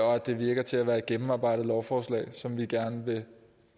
og at det virker til at være et gennemarbejdet lovforslag som vi gerne vil